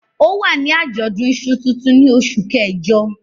Ó wà ní àjọ̀dún iṣu tuntun ní oṣù kẹjọ.